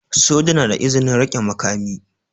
Soja na da izinin rike makami.